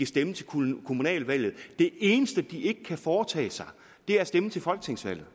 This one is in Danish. stemme til kommunale valg det eneste de ikke kan foretage sig er at stemme til folketingsvalg